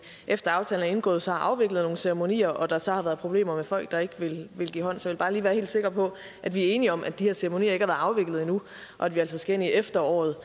efter at aftalen er indgået så har afviklet nogle ceremonier og at der så har været problemer med folk der ikke ville give hånd så jeg vil bare lige være helt sikker på at vi er enige om at de her ceremonier ikke har været afviklet endnu og at vi altså skal ind i efteråret